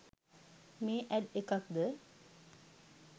මේ ඇඩ් එකක්ද?